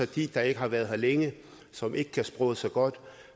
de der ikke har været her længe og som ikke kan sproget så godt og